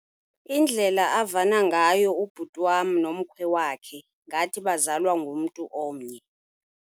Indlela avana ngayo ubhuti wam nomkhwe wakhe ngathi bazalwa ngumntu omnye.